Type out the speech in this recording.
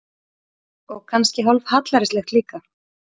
Og kannski hálf hallærislegt líka.